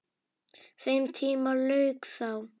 Þeim tíma lauk þá.